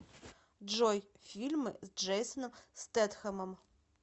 джой фильмы с джейсоном стетхемом